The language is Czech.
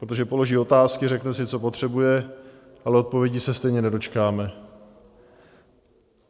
Protože položí otázky, řekne si, co potřebuje, ale odpovědi se stejně nedočkáme.